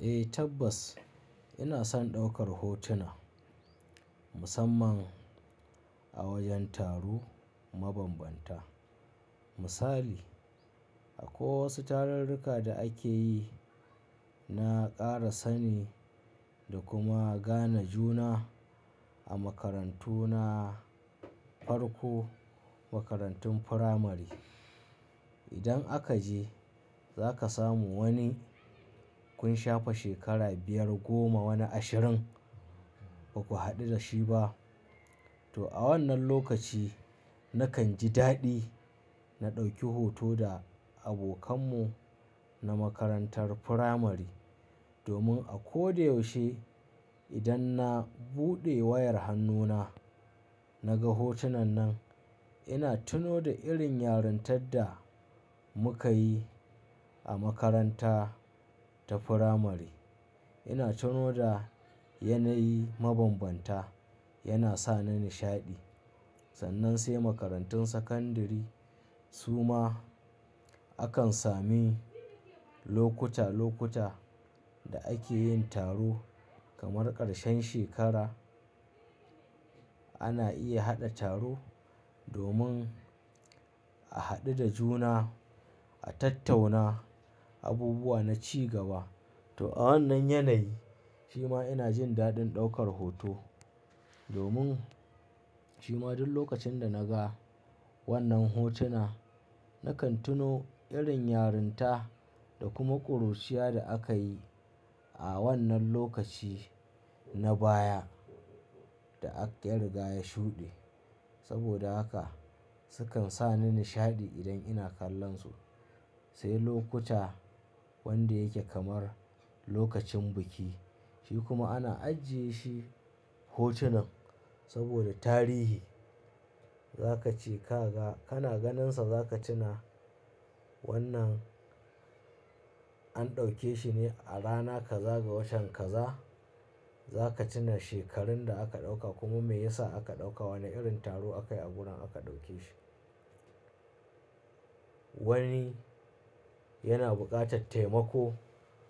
Eh tabbas ina son ɗaukar hotuna musamman a wajen taro mabambanta. Misali, akwai wasu tarurruka da ake yi na ƙara sani da kuma gane juna a makarantu na farko, makarantun firamare. Idan aka je za ka samu wani kun shafe shekara biyar, goma, wani ashirin ba ku haɗu da shi ba. To a wannan lokaci nakan ji daɗi na ɗauki hoto da abokan mu na makarantar firamare domin a ko da yaushe idan na buɗe wayar hannuna na ga hotunan nan ina tuno da irin yarintar da muka yi a makaranta ta firamare. Ina tuno da yanayi mabambanta yana sa ni nishaɗi. Sannan sai makarantun sakandare su ma akan sami lokuta lokuta da ake yin taro kamar ƙarshen shekara ana iya haɗa taro domin a haɗu da juna, a tattauna abubuwa na cigaba. To a wannan yanayi shi ma ina jin daɗin ɗaukar hoto domin shi ma duk lokacin da na ga wannan hotuna nakan tuno irin yarinta da kuma ƙuruciya da aka yi a wannan lokaci na baya da ya riga ya shuɗe. Saboda haka sukan sa ni nishaɗi idan ina kallon su. Sai lokuta wanda yake kamar lokacin biki shi kuma ana ajiye shi hotunan saboda tarihi. Za ka ce ka ga kana ganinsa za ka tuna wannan an ɗauke shi ne a rana kaza ga watan kaza. Za ka tuna shekarun da aka ɗauka kuma me ya sa aka ɗauka, wane irin taro aka yi a wurin aka ɗauke shi. Wani yana buƙatar taimako